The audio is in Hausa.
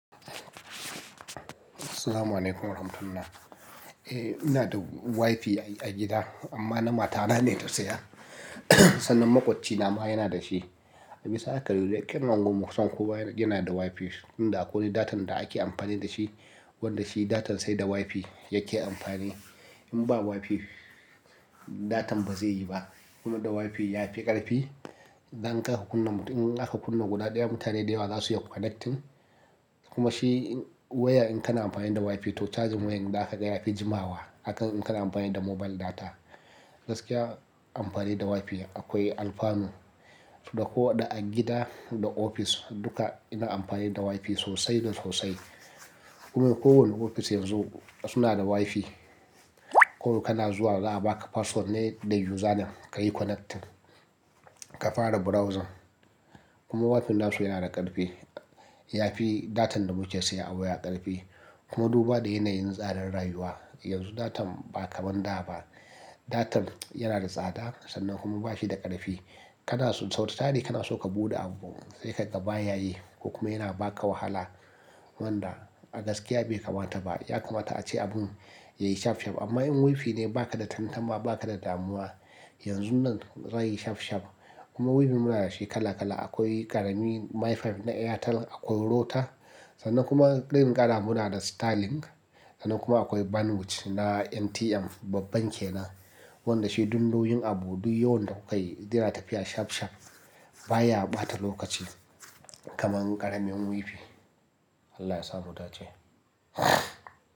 Salamu 'alaikum wa rahmatullahi. Eh, ina da WiFi a gida amma na mata na ne ta saya. Sannan maƙwabcina ma yana da shi. Misali haka duk daƙin unguwar Musan kuwa yana da WiFi, inda akwai datan da ake amfani da shi, wanda shi datan sai da WiFi yake amfani. In ba WiFi, datan ba zai yi ba. Kuma da WiFi ya fi ƙarfi. Dan kar ka kunna mutum, in aka kunna guda ɗaya, mutane da yawa za su yi connecting. Kuma shi wayar in kana amfani da WiFi to charging wayar da aka gaya ya fi jimawa akan in kana amfani da mobile data. Gaskiya amfani da WiFi akwai alfanu. Da ko da a gida da ofis duka ina amfani da WiFi sosai da sosai. Kuma kowane ofis yanzu suna da WiFi. Kawai kana zuwa za a baka password ne da username ka yi connecting, ka fara browsing. Kuma WiFi nasu yana da ƙarfi. Yafi datan da muke siya a waya ƙarfi. Kuma duba da yanayin tsadar rayuwa. Yanzu datan ba kaman da ba. Datan yana da tsada sannan kuma bashi da ƙarfi. Kana so sau tari kana so ka buɗe abu sai ka ga ba ya yi. Kuma yana baka wahala wanda a gaskiya bai kamata ba. Ya kamata ace abun yayi shaf shaf amma in WiFi ne baka da tattama baka da damuwa. Yanzun nan zai yi shaf shaf. Kuma WiFi muna da shi kala kala. Akwai ƙarami Mi-Fi na Airtel, akwai Rota. Sannan kuma ɗin ƙara muna da Starlink. Sannan kuma akwai bandwidth na NTM, babban ke nan. Wanda shi duk nau'in abu, duk yawan da kukayi, yana tafiya shaf shaf. Ba ya ɓata lokaci kaman ƙaramin WiFi. Allah ya samu dace.